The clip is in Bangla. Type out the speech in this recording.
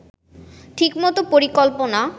ঠিকমতো পরিকল্পনা